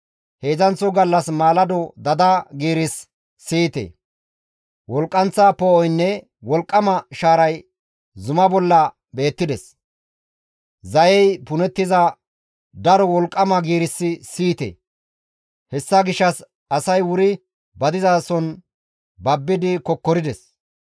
Heedzdzanththo gallas maalado dada giirissi siyettides. Wolqqanththa poo7oynne wolqqama shaaray zumaa bolla beettides; Zayey punettiza daro wolqqama giirissi siyettides. Hessa gishshas asay wuri ba dizason babbidi kokkorides.